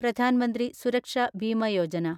Pradhan Mantri Suraksha Bima Yojana